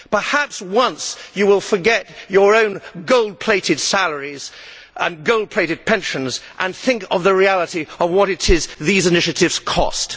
Perhaps, for once, you will forget your own gold plated salaries and gold plated pensions and think of the reality of what these initiatives cost.